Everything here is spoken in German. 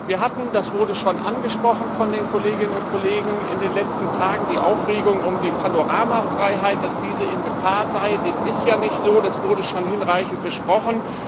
Wir hatten das wurde schon angesprochen von den Kolleginnen und Kollegen in den letzten Tagen die Aufregung um die Panoramafreiheit, dass diese in Gefahr sei dem ist ja nicht so, das wurde schon hinreichend besprochen.